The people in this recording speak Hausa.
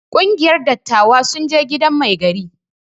Kungiyar dattawa sun je gidan mai gari.